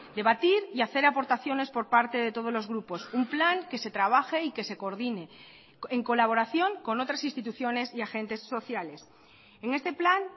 debatir y hacer aportaciones por parte de todos los grupos un plan que se trabaje y que se coordine en colaboración con otras instituciones y agentes sociales en este plan